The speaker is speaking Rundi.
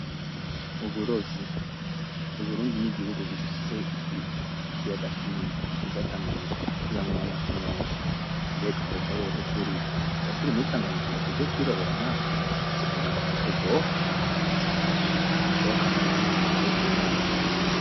Uburovyi : Uburundi ni igihugu gifise ikiyaga kinini citwa Tanganyika kibamwo amafi menshi. Mbega aho hoho turi, twoba turi muri Tanganyika ngo tuje kwirobera natwe ? Uzi ukuntu agafi karyoha ! Basha icokampa nanje nogahekenya basha !